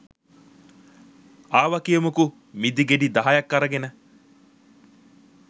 ආව කියමුකෝ මිදී ගෙඩි දහයක් අරගෙන